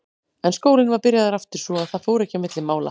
En skólinn var byrjaður aftur svo að það fór ekki á milli mála.